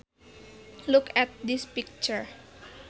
Look at this picture